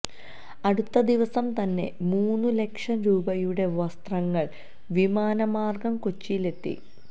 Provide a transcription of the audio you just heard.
അടുത്ത ദിവസം തന്നെ മൂന്നു ലക്ഷം രൂപയുടെ വസ്ത്രങ്ങള് വിമാനമാര്ഗ്ഗം കൊച്ചിയിലെത്തി